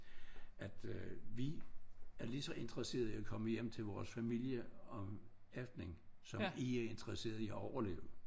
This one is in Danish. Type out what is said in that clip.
At øh vi er lige så interesseret i at komme hjem til vores familier om aftenen som I er interesseret i at overleve